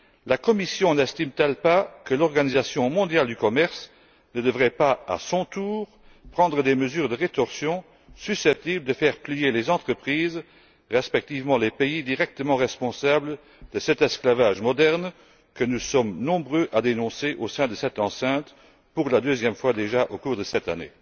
la Commission n'estime t elle pas que l'Organisation mondiale du commerce devrait, à son tour, prendre des mesures de rétorsion susceptibles de faire plier les entreprises et pays directement responsables de cet esclavage moderne, que nous sommes nombreux à dénoncer au sein de cette enceinte, pour la deuxième fois déjà au cours de cette année?